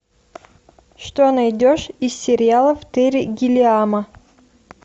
что найдешь из сериалов терри гиллиама